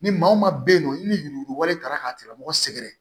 Ni maa o maa bɛ yen nɔ ni yurugulen taara ka tigilamɔgɔ sɛgɛrɛ